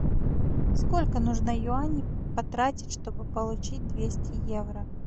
сколько нужно юаней потратить чтобы получить двести евро